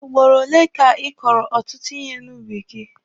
Ugboro ole ka ị kọrọ ọtụtụ ihe n'ubi gị?